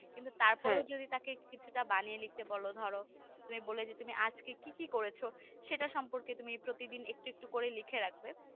কিন্তু তারপরও যদি তাকে কিছুটা বানিয়ে লিখতে বল ধরো তুমি বললে যে তুমি আজকে কিকি করেছো সেটা সম্পর্কে তুমি প্রতিদিন একটু একটু করে লিখে রাখবে